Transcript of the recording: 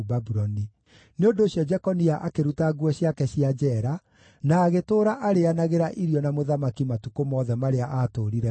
Nĩ ũndũ ũcio Jekonia akĩruta nguo ciake cia njeera, na agĩtũũra arĩĩanagĩra irio na mũthamaki matukũ mothe marĩa aatũũrire muoyo.